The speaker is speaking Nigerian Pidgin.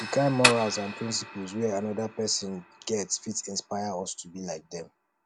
di kind morals and principles wey anoda person get fit inspire us to be like them